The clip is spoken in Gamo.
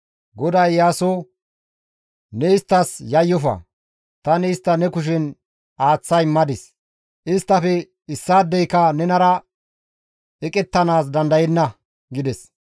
GODAY Iyaaso, «Ne isttas yayyofa; tani istta ne kushen aaththa immadis; isttafe issaadeyka nenara eqettanaas dandayenna» gides.